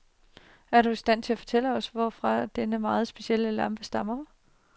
Er du i stand til at fortælle os, hvorfra denne meget specielle lampe stammer.